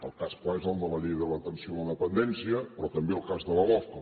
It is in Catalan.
el cas clar és el de la llei de l’atenció a la dependència però també el cas de la lofca